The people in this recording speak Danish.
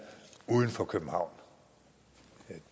uden for københavn